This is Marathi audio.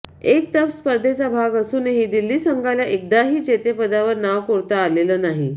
एक तप स्पर्धेचा भाग असूनही दिल्ली संघाला एकदाही जेतेपदावर नाव कोरता आलेलं नाही